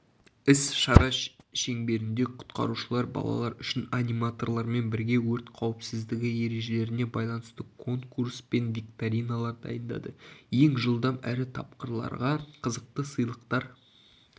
іс-шара шеңберінде құтқарушылар балалар үшін аниматорлармен бірге өрт қауіпсіздігі ережелеріне байланысты конкурс пен викториналар дайындады ең жылдам әрі тапқырларға қызықты сыйлықтар